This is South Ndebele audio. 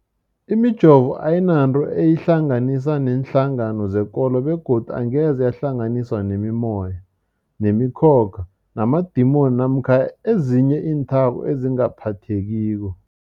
Imijovo ayinanto eyihlanganisa neenhlangano zekolo begodu angeze yahlanganiswa nemimoya, nemi khokha, namadimoni namkha ezinye iinthako ezingaphathekiko.